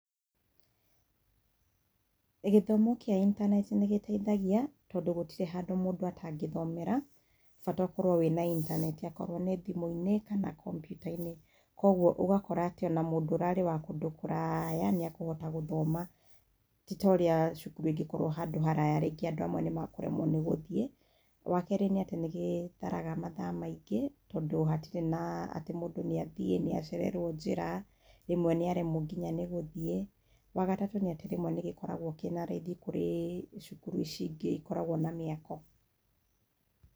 Gĩthomo kĩa intaneti nĩ gĩteithagia, tondũ gũtirĩ handũ mũndũ atangĩthomera, bata ũkorwo wĩna intaneti, akorwo nĩ thimũ-inĩ kana kompiuta-inĩ. Kũoguo, ũgakora atĩ ona mundũ ũrarĩ wa kũndũ kũraya nĩ ekũhota gũthoma. Ti ta ũrĩa cukuru ĩngĩkorwo handũ haraya rĩngĩ andũ amwe nĩ mekũremwo nĩ gũthiĩ. Wa kerĩ ni atĩ nĩ gĩtharaga mathaa mangĩ, tondũ hatirĩ na atĩ mũndũ nĩathiĩ, nĩacererwo njĩra, rĩmwe nĩaremwo nginya nĩ gũthiĩ. Wa gatatũ nĩ atĩ rĩmwe nĩ gĩkoragwo kĩna raithi gũkĩra cukuru ici ingĩ ikoragwo na mĩako.